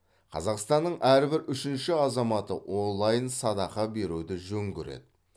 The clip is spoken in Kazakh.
қазақстанның әрбір үшінші азаматы онлайн садақа беруді жөн көреді